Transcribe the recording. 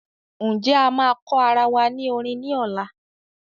Ǹjẹ́ A máa kọ́ arawa ní orin ni ola